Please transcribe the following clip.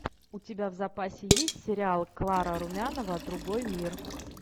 у тебя в запасе есть сериал клара румянова другой мир